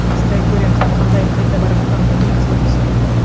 біз траекториямыздың қандай қайда бара жатқанын білмейміз ғой дейсің ғой иә